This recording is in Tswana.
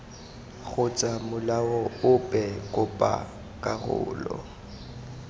kgotsa molao ope kopa karolo